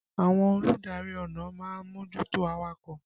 Àwọn olùdarí ọ̀nà ma ń mójútó awakọ̀.